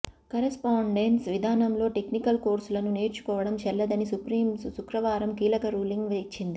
correspondence విధానంలో technical కోర్సులను నేర్చుకోవడం చెల్లదని సుప్రీం శుక్రవారం కీలక రూలింగ్ ఇచ్చింది